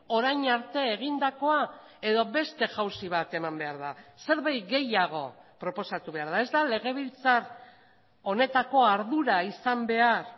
orain arte egindakoa edo beste jauzi bat eman behar da zerbait gehiago proposatu behar da ez da legebiltzar honetako ardura izan behar